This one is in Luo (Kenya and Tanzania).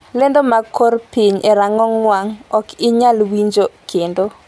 lando mag kor piny e rang'ong wang' Ok inyal winjo kendo